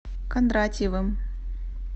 кондратьевым